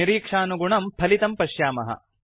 निरीक्षानुगुणं फलितं पश्यामः